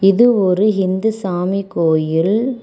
இது ஒரு ஹிந்து சாமி கோயில்.